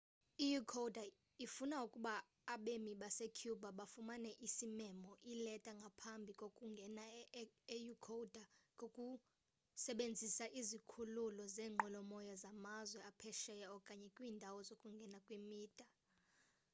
i-ecuador ifuna ukuba abemi basecuba bafumane isimemo ileta ngaphambi kokungena e-ecuador ngokusebenzisa izikhululo zeenqwelomoya zamazwe aphesheya okanye kwiindawo zokungena kwimida